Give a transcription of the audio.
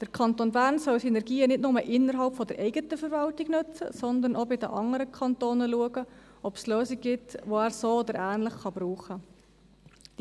Der Kanton Bern soll Synergien nicht nur innerhalb der eigenen Verwaltung nutzen, sondern auch bei den anderen Kantonen schauen, ob es Lösungen gibt, die er so oder ähnlich brauchen kann.